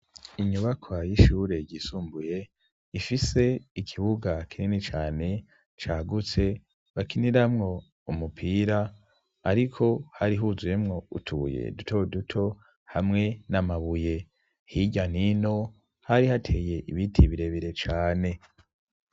Inyubakwa y'ishure ryisumbuye ifise ikibuga kinini cane cagutse, bakiniramwo umupira ariko hari huzuyemwo utubuye duto duto hamwe n'amabuye; hirya n' ino hari hateye ibiti birebire cane.